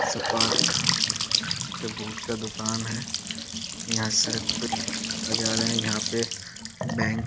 sparks के boot का दुकान है यहाँ सड़क पे नजारा है यहाँ पे बैंक --